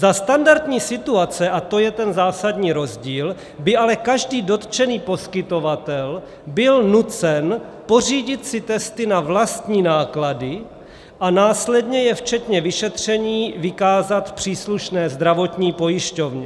Za standardní situace, a to je ten zásadní rozdíl, by ale každý dotčený poskytovatel byl nucen pořídit si testy na vlastní náklady a následně je včetně vyšetření vykázat příslušné zdravotní pojišťovně.